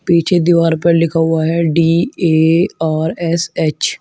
पीछे दीवार पर लिखा हुआ है D A R S H.